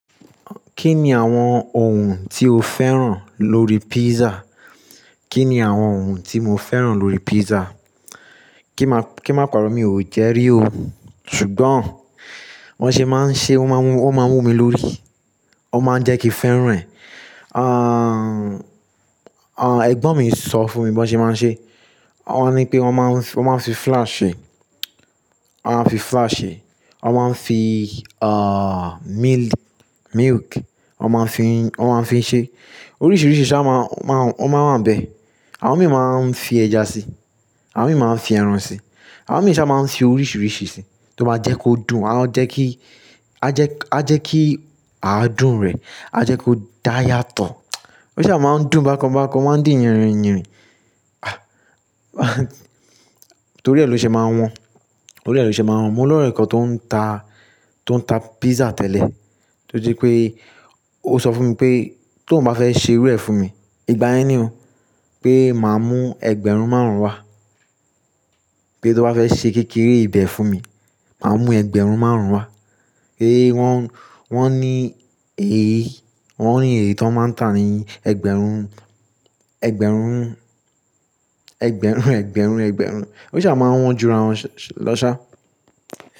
Kí ni àwọn ohun tí o fẹ́ràn lórí pizza? Kí ni àwọn ohun tí mo fẹ́ràn lórí pizza? Kí má, kí má paro mi ò jẹ́ rí o. Sugbon wọ́n ṣe máa ń ṣe, wọ́n máa ń wú, wọ́n máa ń wú mi lórí, wọ́n máa ń jẹ́ kí fẹ́ràn ẹ̀. Àn, àn, Ẹ̀gbọ́n mi ń sọ fún mi wón ṣe máa ń ṣe. Wọ́n ní pé wọ́n máa ń fi, wọ́n máa ń fi flour ṣe, wọ́n máa ń fi flour ṣe. Wọ́n máa ń fi, àh, milk, milk. Wọ́n máa ń fi, wọ́n máa ń fi ṣe. Oríṣìíríṣìí ṣá máa, máa, wọ́n máa ń wa nbẹ. Àwọn mìíràn máa ń fi ẹja sí, àwọn mìíràn máa ń fi ẹran sí, àwọn mìíràn ṣá máa ń fi oríṣìíríṣìí sí. Tí ó má jẹ́ kó dùn, a ó jẹ́ kí, a jẹ́ kí, a jẹ́ kí a dùn rẹ̀, a jẹ́ kó dáya to. Ó ṣà máa ń dùn bákan bákan, ó máa ń dì yanrinyanrin. Ah, torí ẹ ló ṣe máa ń wọ́n, torí ẹ ló ṣe máa ń wọ́n. Mo lọ́ ọ́rẹ̀ kan tó ń ta, tó ń ta pizza tẹ́lẹ̀. To jé ó sọ fún mi pé tóun bá fẹ́ ṣe irú ẹ̀ fún mi, ìgbà yẹn ni o pé màá mú ẹgbẹ̀rún márùn-ún wá. Pé tó bá fẹ́ ṣe kékeré ibẹ̀ fún mi, màá mú ẹgbẹ̀rún márùn-ún wá. Pé wọ́n, wọ́n ní èyí, wọ́n ní èyí tí wọ́n máa ń tà ni ẹgbẹ̀rún, ẹgbẹ̀rún, ẹgbẹ̀rún, ẹgbẹ̀rún, ẹgbẹ̀rún. Ó ṣà máa ń wọ́n jura lọ́ṣà.